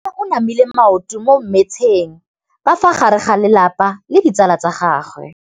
Mme o namile maoto mo mmetseng ka fa gare ga lelapa le ditsala tsa gagwe.